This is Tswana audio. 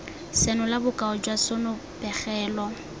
senola bokao jwa sona pegelo